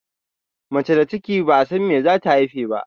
Mace da ciki ba'a san abinda zata haife ba.